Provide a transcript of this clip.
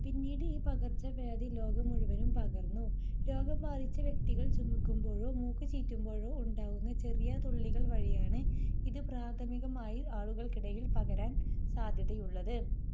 പിന്നീട് ഈ പകർച്ചവ്യാധി ലോകം മുഴുവനും പകർന്നു. രോഗം ബാധിച്ച വ്യക്തികൾ ചുമയ്ക്കുമ്പോഴോ മൂക്കുചീറ്റുമ്പോഴോ ഉണ്ടാകുന്ന ചെറിയ തുള്ളികൾ വഴിയാണ് ഇത് പ്രാഥമികമായി ആളുകൾക്കിടയിൽ പകരാൻ സാധ്യതയുള്ളത്.